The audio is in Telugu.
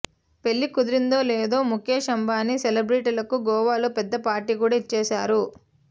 పెళ్లి కుదిరిందో లేదో ముఖేశ్ అంబానీ సెలబ్రిటీలకు గోవాలో పెద్ద పార్టీ కూడా ఇచ్చేశారు